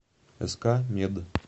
ск мед